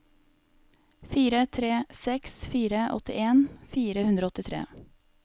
fire tre seks fire åttien fire hundre og åttitre